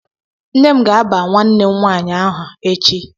Nne m ga-aba nwanne m nwaanyị aha echi